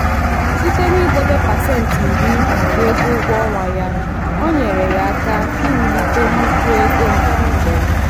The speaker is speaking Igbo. ndị ọchụnta ego na-ejikarị nghọta ha banyere usoro ahịa nweta nkwekọrịta ka mma n'aka ndị ndụmọdụ ego.